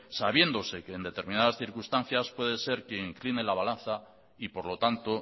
sabiéndose que en determinadas circunstancias puede ser que incline la balanza y por lo tanto